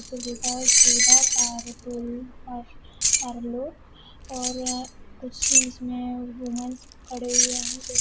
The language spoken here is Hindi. लिखा है सुधा पारलोर और कुछ इसमें वूमेंस खड़े हुए हैं जो कि--